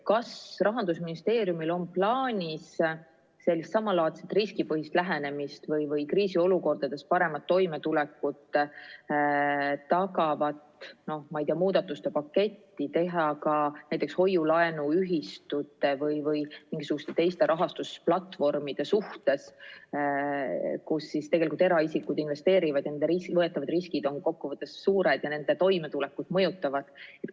Kas Rahandusministeeriumil on plaanis samalaadset riskipõhist lähenemist või kriisiolukordades paremat toimetulekut tagavat muudatuste paketti rakendada ka näiteks hoiu-laenuühistute või mingisuguste teiste rahastusplatvormide suhtes, kus tegelikult eraisikud investeerivad, nende võetavad riskid on kokkuvõttes suured ja nende toimetulekut mõjutavad?